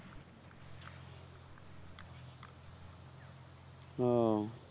হম